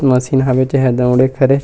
Machine हवे जेहा दौड़े के हरे।